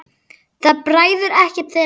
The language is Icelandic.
Það bræðir ekkert þeirra.